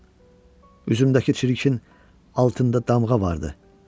Üzümdəki çirkin altında damğa vardı.